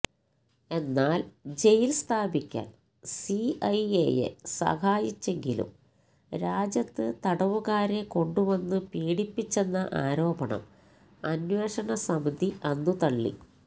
എന്നാൽ ജയിൽ സ്ഥാപിക്കാൻ സിഐഎയെ സഹായിച്ചെങ്കിലും രാജ്യത്ത് തടവുകാരെ കൊണ്ടുവന്നു പീഡിപ്പിച്ചെന്ന ആരോപണം അന്വേഷണ സമിതി അന്നു തള്ളി